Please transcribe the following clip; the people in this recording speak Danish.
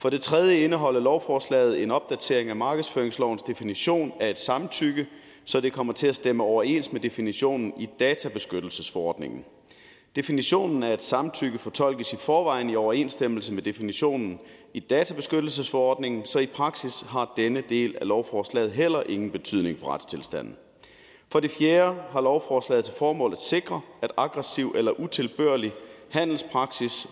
for det tredje indeholder lovforslaget en opdatering af markedsføringslovens definition af et samtykke så det kommer til at stemme overens med definitionen i databeskyttelsesforordningen definitionen af et samtykke fortolkes i forvejen i overensstemmelse med definitionen i databeskyttelsesforordningen så i praksis har denne del af lovforslaget heller ingen betydning for retstilstanden for det fjerde har lovforslaget til formål at sikre at aggressiv eller utilbørlig handelspraksis